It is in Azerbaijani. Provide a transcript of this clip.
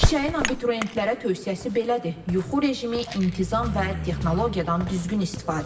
Çiçəyin abituriyentlərə tövsiyəsi belədir: yuxu rejimi, intizam və texnologiyadan düzgün istifadə.